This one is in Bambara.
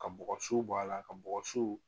Ka bɔgɔ siw bɔ a la ka bɔgɔ siw